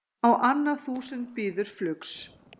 Á annað þúsund bíður flugs